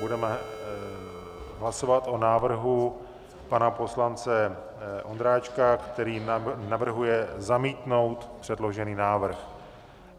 Budeme hlasovat o návrhu pana poslance Ondráčka, který navrhuje zamítnout předložený návrh.